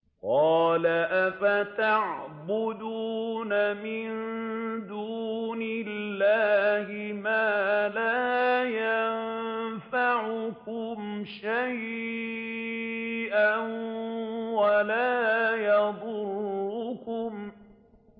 قَالَ أَفَتَعْبُدُونَ مِن دُونِ اللَّهِ مَا لَا يَنفَعُكُمْ شَيْئًا وَلَا يَضُرُّكُمْ